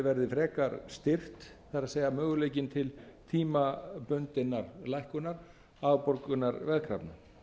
verði frekar styrkt það er möguleikinn til tímabundinnar lækkunar afborgunar veðkrafna